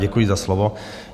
Děkuji za slovo.